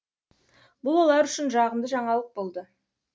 бұл олар үшін жағымды жаңалық болды